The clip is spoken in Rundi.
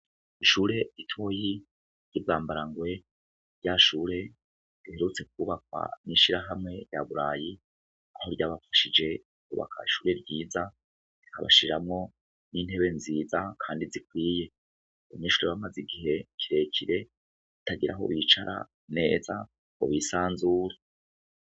Ishure ritoyi ry'i Bwambarangwe, rya shure riherutse kubakwa n'ishirahamwe rya Burayi aho ryabafashije kwubaka ishure ryiza bagashiramwo n'intebe nziza kandi zikwiye. Abanyeshure bamaze igihe kirekire batagira aho bicara neza ngo bisanzure.